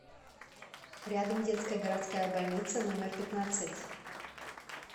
рядом детская городская больница номер пятнадцать